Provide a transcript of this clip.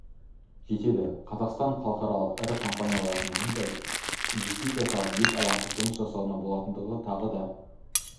жетеді қазақстан халықаралық ірі компаниялардың мұнда инвестиция салып еш алаңсыз жұмыс жасауына болатындығын тағы да